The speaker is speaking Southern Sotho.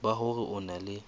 ba hore o na le